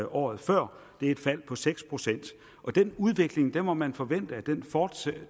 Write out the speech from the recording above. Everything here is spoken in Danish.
året før det er et fald på seks procent den udvikling må man forvente fortsætter